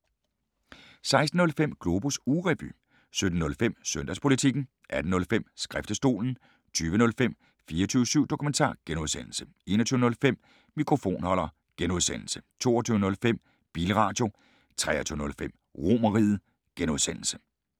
16:05: Globus ugerevy 17:05: Søndagspolitikken 18:05: Skriftestolen 20:05: 24syv Dokumentar (G) 21:05: Mikrofonholder (G) 22:05: Bilradio 23:05: RomerRiget (G)